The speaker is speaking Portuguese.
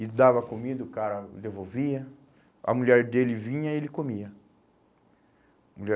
E dava comida, o cara devolvia, a mulher dele vinha e ele comia.